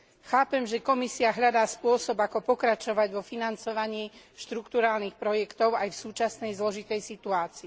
Chápem, že Komisia hľadá spôsob, ako pokračovať vo financovaní štrukturálnych projektov aj v súčasnej zložitej situácii.